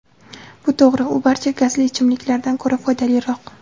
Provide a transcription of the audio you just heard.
Bu to‘g‘ri: u barcha gazli ichimliklardan ko‘ra foydaliroq.